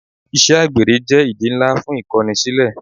Ìṣe àgbèrè jẹ́ ìdí ńlá fún Ìkọnisílẹ́.